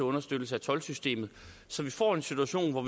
understøttelse af toldsystemet så vi får en situation hvor